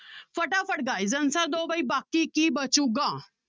ਫਟਾਫ guys answer ਦਓ ਬਾਈ ਬਾਕੀ ਕੀ ਬਚੇਗਾ।